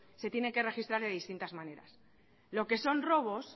se tiene que registrar de distintas maneras lo que son robos